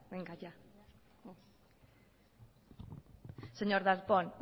señor darpón